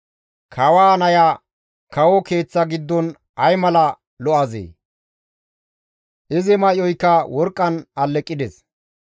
Kawaa naya kawo keeththa giddon ay mala lo7azee! Izi may7oyka worqqan alleqides.